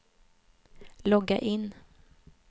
logga in